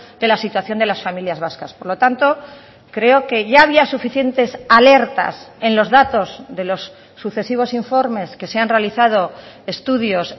de la situación de las familias vascas por lo tanto creo que ya había suficientes alertas en los datos de los sucesivos informes que se han realizado estudios